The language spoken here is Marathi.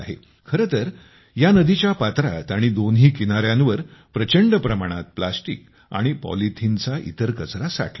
खरेतर या नदीच्या पात्रात आणि दोन्ही किनाऱ्यांवर प्रचंड प्रमाणात प्लॅस्टिक आणि पॉलिथिनचा इतर कचरा साठला होता